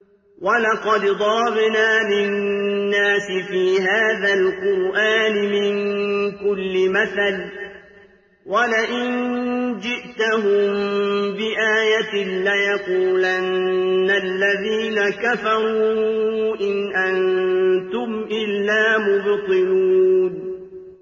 وَلَقَدْ ضَرَبْنَا لِلنَّاسِ فِي هَٰذَا الْقُرْآنِ مِن كُلِّ مَثَلٍ ۚ وَلَئِن جِئْتَهُم بِآيَةٍ لَّيَقُولَنَّ الَّذِينَ كَفَرُوا إِنْ أَنتُمْ إِلَّا مُبْطِلُونَ